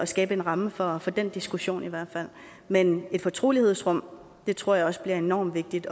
skabe en ramme for den diskussion men et fortrolighedsrum tror jeg også bliver enormt vigtigt